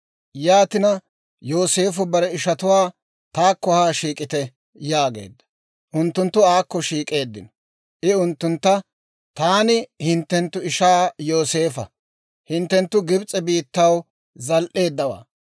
Yaatina Yooseefo bare ishatuwaa, «Taakko haa shiik'ite» yaageedda. Unttunttu aakko shiik'eeddino; I unttuntta, «Taani hinttenttu ishaa Yooseefa; hinttenttu Gibs'e biittaw zal"eeddawaa.